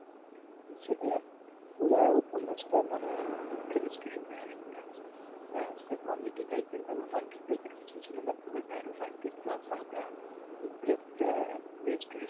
ইচ্ছে করে মানে দুঃখ্যের story যে comedy তাইপেইর কিছু বা পুরোটাই romantic দুঃখ্যের যে